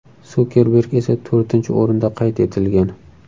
Sukerberg esa to‘rtinchi o‘rinda qayd etilgan.